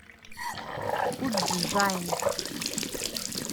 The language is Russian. удджайн